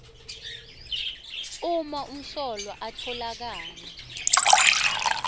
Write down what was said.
uma umsolwa atfolakala